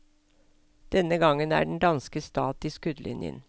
Denne gangen er den danske stat i skuddlinjen.